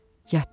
Yatdı.